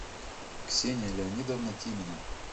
ксения леонидовна тимина